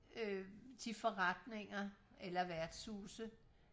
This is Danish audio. øh de forretninger eller værtshuse